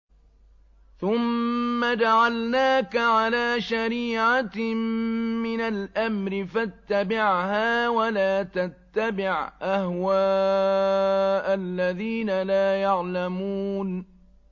ثُمَّ جَعَلْنَاكَ عَلَىٰ شَرِيعَةٍ مِّنَ الْأَمْرِ فَاتَّبِعْهَا وَلَا تَتَّبِعْ أَهْوَاءَ الَّذِينَ لَا يَعْلَمُونَ